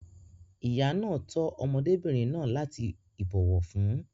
Ìyá náà tọ́ ọmọdébìnrin náà láti ìbòwọ̀fún.